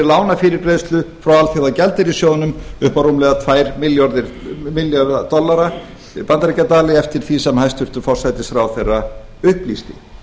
lánafyrirgreiðslu frá alþjóðagjaldeyrissjóðnum upp á rúmlega tvær milljónir bandaríkjadala eftir því sem hæstvirtur forsætisráðherra upplýsti